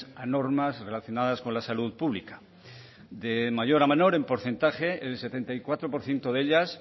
a normas relacionadas con la salud pública de mayor a menor en porcentaje el setenta y cuatro por ciento de ellas